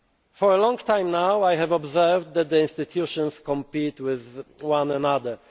matters. For a long time now, I have observed that the institutions compete with one